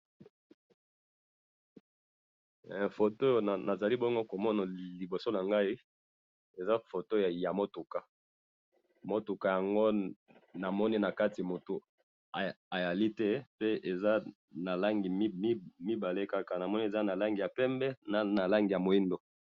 Photo oyo na moni awa eza ya motuka langi ya pembe na moindo, na mutu aza na kati te.